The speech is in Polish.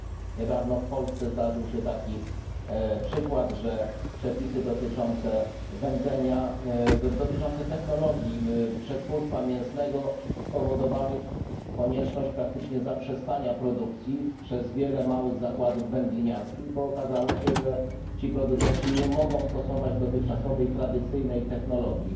Niedawno w Polsce zdarzył się taki przykład, że przepisy dotyczące technologii przetwórstwa mięsnego spowodowały konieczność praktycznie zaprzestania produkcji przez wiele małych zakładów wędliniarskich, bo okazało się, że producenci ci nie mogą stosować dotychczasowej tradycyjnej technologii.